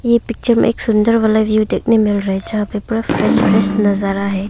यह पिक्चर में एक सुंदर वाला व्यू देखने मिल रहा है जहां पर पूरा फ्रेश फ्रेश नजारा है।